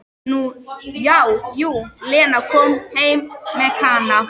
Nú já, jú, Lena kom heim með Kana.